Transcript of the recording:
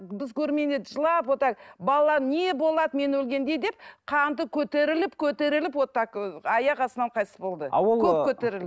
біз көрмегенде жылап вот так балаларым не болады мен өлгенде деп қанты көтеріліп көтеріліп вот так ы аяқ астынан қайтыс болды